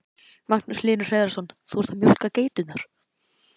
Magnús Hlynur Hreiðarsson: Þú ert að mjólka geiturnar?